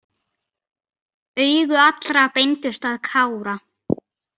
Augu allra beindust að Kára.